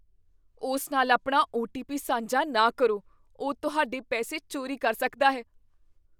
ਉਸ ਨਾਲ ਆਪਣਾ ਓ. ਟੀ. ਪੀ. ਸਾਂਝਾ ਨਾ ਕਰੋ। ਉਹ ਤੁਹਾਡੇ ਪੈਸੇ ਚੋਰੀ ਕਰ ਸਕਦਾ ਹੈ।